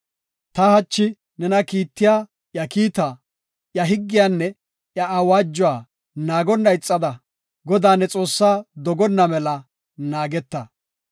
Ta hachi nena kiittiya iya kiita, iya higgiyanne iya awaajuwa naagonna ixada, Godaa ne Xoossaa dogonna mela naageta.